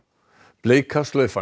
Bleika slaufan